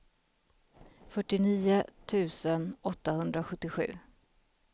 fyrtionio tusen åttahundrasjuttiosju